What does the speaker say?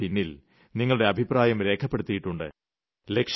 in ൽ നിങ്ങളുടെ അഭിപ്രായം രേഖപ്പെടുത്തിയിട്ടുണ്ട്